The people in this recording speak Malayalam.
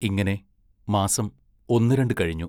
ഇങ്ങനെ മാസം ഒന്നുരണ്ടു കഴിഞ്ഞു.